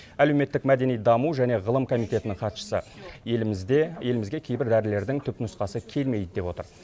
әлеуметтік мәдени даму және ғылым комитетінің хатшысы елімізде елімізге кейбір дәрілердің түпнұсқасы келмейді деп отыр